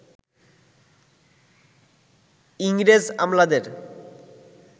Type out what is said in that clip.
ইংরেজ আমলাদের